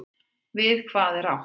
Við hvað er átt?